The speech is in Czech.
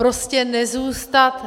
Prostě nezůstat...